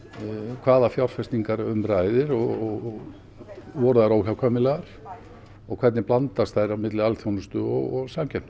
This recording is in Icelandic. hvaða fjárfestingar um ræðir og voru þær óhjákvæmilegar og hvernig blandast þær milli alþjónustu og